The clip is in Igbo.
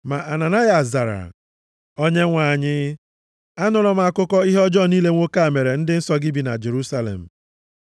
Ma Ananayas zara, “Onyenwe anyị, anụla m akụkọ ihe ọjọọ niile nwoke a mere ndị nsọ gị bi na Jerusalem.